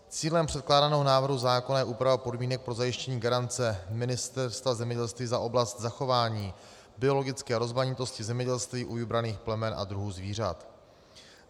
Cílem předkládaného návrhu zákona je úprava podmínek pro zajištění garance Ministerstva zemědělství za oblast zachování biologické rozmanitosti zemědělství u vybraných plemen a druhů zvířat.